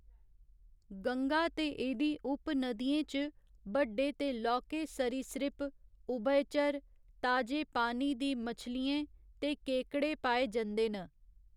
गंगा ते एह्दी उप नदियें च बड्ड़े ते लौह्के सरीसृप, उभयचर, ताजे पानी दी मछलियें ते केकड़े पाए जंदे न।